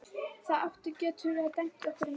Það eitt getur dæmt í okkar málum.